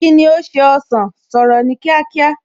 Kíni ó ṣe ọsàn, sọ̀rọ̀ ní kíákíá!